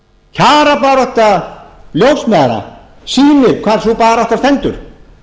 kjarabarátta ljósmæðra sýnir hvar sú barátta stendur